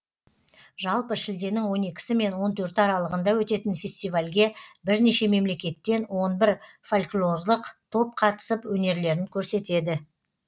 жалпы шілденің он екісі мен он төрті аралығында өтетін фестивальге бірнеше мемлекеттен он бір фольклорлық топ қатысып өнерлерін көрсетеді